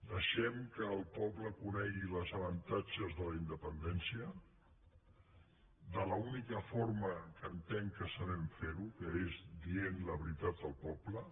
deixem que el poble conegui els avantatges de la independència de l’única forma que entenc que sabem fer ho que és dient la veritat al poble